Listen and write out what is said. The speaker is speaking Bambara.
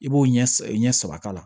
I b'o ɲɛ saba k'a la